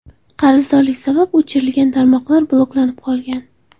Qarzdorlik sabab o‘chirilgan tarmoqlar bloklanib qolgan.